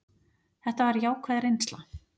Þetta var jákvæð reynsla.